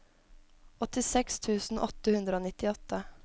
åttiseks tusen åtte hundre og nittiåtte